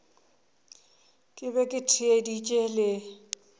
ke be ke theeditše le